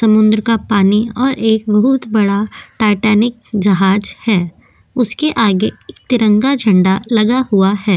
समुद्र का पानी और एक बहुत बड़ा टाइटैनिक जहाज है उसके आगे तिरंगा झंडा लगा हुआ है।